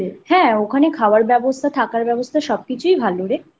হ্যাঁ ওখানে খাওয়ার ব্যবস্থা থাকার ব্যবস্থা সব কিছুই ভালো রে